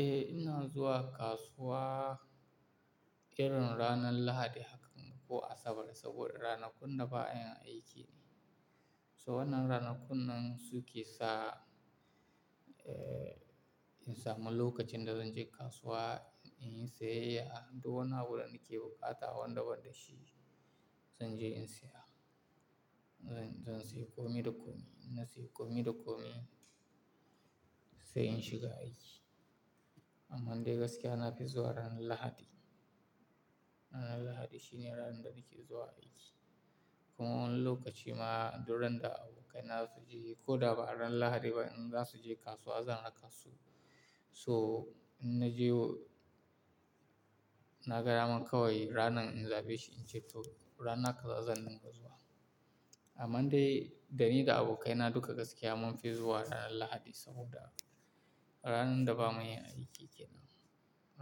Eh, ina zuwa kasuwa irin ranar Lahadi hakan ko Asabar saboda ranakun da ba ayin aiki ne. So wannan ranakun nan su ke sa, eh, in samu lokacin da zan je kasuwa inyi siyayya, duwwani abu da nake bukata wanda banda shi zan je in siya. Zan, zan sayi komi da komi, in na sayi komi da komi sai in shiga aiki. Amman dai gaskiya na fi zuwa ranar Lahadi. Ranar Lahadi shine ranar da muke zuwa aiki. Kuma wani lokaci ma duk ran da abokaina za su je ko da ba ran Lahadi ba in za su je kasuwa zan raka su. So in na jewo, na ga daman kawai ranan in zaɓe shi in ce to rana kaza zan dinga zuwa. Amman dai dani da abokaina duka gaskiya mun fi zuwa ranar Lahadi saboda ran da ba muyin aiki kenan.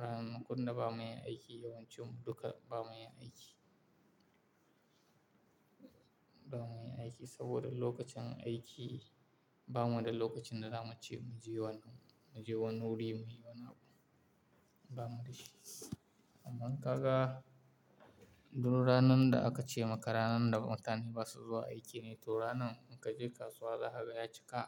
Ranakun da ba mayin aiki yawancin mu duka ba muyin aiki. Ba mayin aiki saboda lokacin aiki ba mu da lokacin da za mu ce mu je wani wuri muyi wani abu. Ba mu da shi. Amma kaga duk ranan da aka ce maka ranan da mutane ba su zuwa aiki ne to ranan in ka je kasuwa za kaga ya cika.